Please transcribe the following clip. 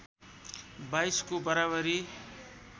२२ को बराबरी